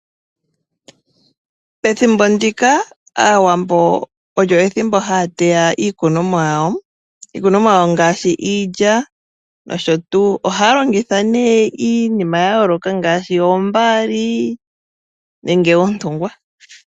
Ethimbo ndika Aawambo olyo ethimbo haya teya iikunomwa yawo, iikunomwa yawo ngaashi iilya nosho tuu. Ohaya longitha nee iinima ya yooloka ngaashi oombaali nenge oontungwa.